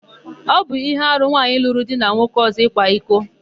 Ọ bụ íhé arụ nwaanyị lụrụ di na nwoke ọ̀zọ́ ịkwa iko.